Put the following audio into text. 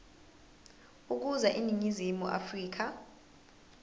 ukuza eningizimu afrika